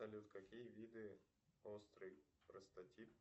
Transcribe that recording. салют какие виды острый простатит